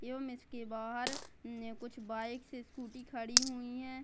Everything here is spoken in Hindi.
के बाहर ने कुछ बाइक्स स्कूटी खड़ी हुयी है।